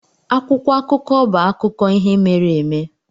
Akwụkwọ akụkọ bụ akụkọ ihe mere eme.